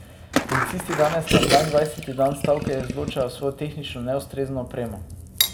Policisti danes na dvaindvajseti dan stavke izločajo svojo tehnično neustrezno opremo.